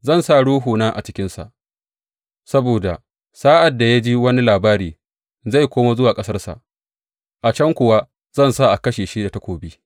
Zan sa ruhuna a cikinsa saboda sa’ad da ya ji wani labari, zai koma zuwa ƙasarsa, a can kuwa zan sa a kashe shi da takobi.’